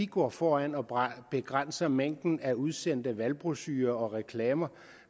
går foran og begrænser mængden af udsendte valgbrochurer og reklamer